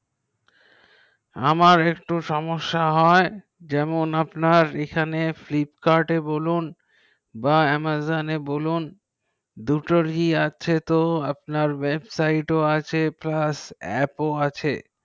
আমার একটু সমেস্যা হয় যেমন আপনার Flipkart এ বলুন বা amazon বলুন দুটি দুটো রি আছে তো আপনার website ও আছে প্লাস অ্যাপ ও আছে